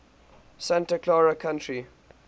santa clara county